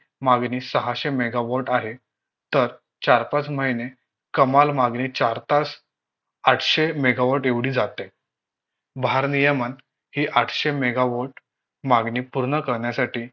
मागणी सहाशे mega volt आहे तर चार पाच महिने कमाल मागणी चार तास आठशे mega volt एवढी जाते भारनियमन हे आठशे mega volt मागणी पूर्ण करण्यासाठी